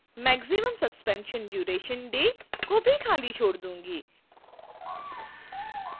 maximum suspension duration day को भी खाली छोड़ दूंगी